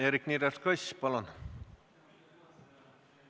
Eerik-Niiles Kross, palun!